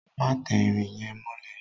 Má tẹ irin yẹn mọ́lẹ̀!